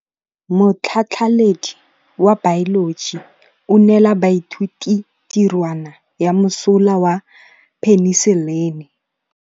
Motlhatlhaledi wa baeloji o neela baithuti tirwana ya mosola wa peniselene.